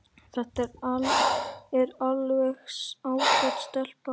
Þetta er alveg ágæt stelpa.